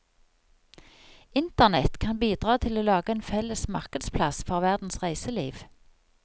Internett kan bidra til å lage en felles markedsplass for verdens reiseliv.